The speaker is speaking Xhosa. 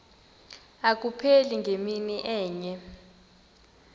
abupheli ngemini enye